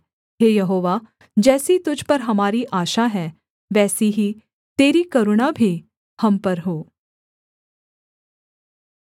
हे यहोवा जैसी तुझ पर हमारी आशा है वैसी ही तेरी करुणा भी हम पर हो